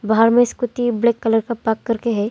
बाहर में scooty black colour का पार्क करके है।